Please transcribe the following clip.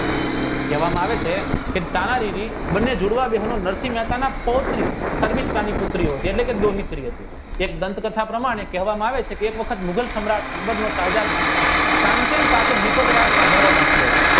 કહેવામાં આવે છે કે તાનારીવિ બને નરસિંહ મહેતાના પુત્રી એક ગ્રંથ કથા કહેવામાં આવે છે કે એક વખત મુગલ સમ્રાટ તાનસેન પાસે સંભારવા માંગતો હતો